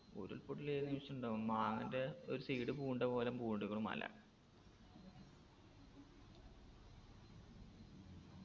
ഉരുൾപൊട്ടൽ ഏത് നിമിഷും ഇണ്ടാവും മാങ്ങൻറെ ഒരു side പൂണ്ട പോലെ പൂണ്ട്ക്ക്ണു മല